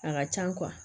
A ka can